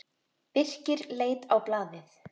Birkir leit á blaðið.